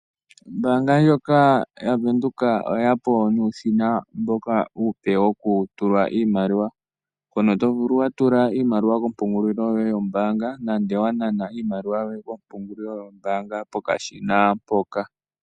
Ombaanga ndjoka yaVenduka oye ya po nuushina uupe mboka wo kutulwa iimaliwa, mpono to vulu wa tula iimaliwa kompungulilo yoye yoombaanga, nande owa nana iimaliwa yoye kompungulilo yoye yombaanga pokashina mpoka.